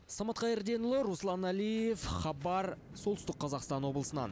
самат қайырденұлы руслан әлиев хабар солтүстік қазақстан облысынан